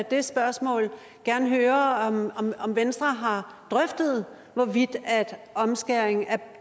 det spørgsmål gerne høre om venstre har drøftet hvorvidt omskæring af